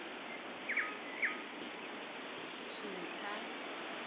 thupha